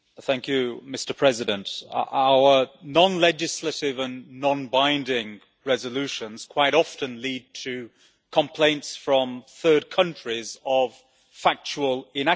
Mr President, our non legislative and non-binding resolutions quite often lead to complaints from third countries of factual inaccuracies.